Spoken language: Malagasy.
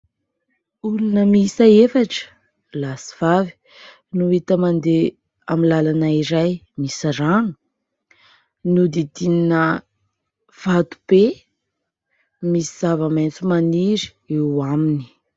Olona miisa efatra lahy sy vavy no hita mandeha amin'ny lalana iray misy rano, nodidinina vato be, misy zava-maitso maniry eo aminy.